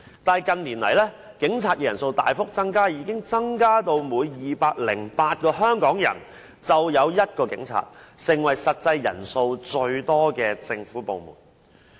可是，近年來，警察人數大幅增加，已增至每208名香港人便有1名警察，成為實際人數最多的政府部門。